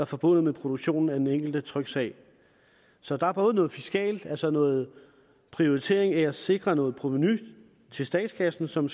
forbundet med produktionen af den enkelte tryksag så der er både noget fiskalt altså noget prioritering af at sikre noget provenu til statskassen som